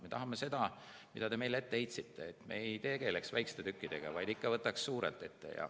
Me tahame teha nii , et me ei tegeleks väikeste tükkidega, vaid ikka võtaks suurelt ette.